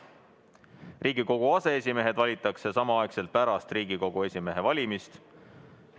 Riigikogu aseesimehed valitakse samaaegselt pärast Riigikogu esimehe valimist.